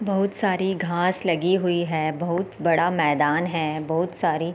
बहुत सारी घास लगी हुई है बहुत बड़ा मैदान है बहुत सारे--